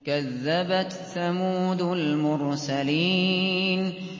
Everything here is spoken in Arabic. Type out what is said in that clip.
كَذَّبَتْ ثَمُودُ الْمُرْسَلِينَ